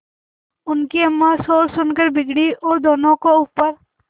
उनकी अम्मां शोर सुनकर बिगड़ी और दोनों को ऊपर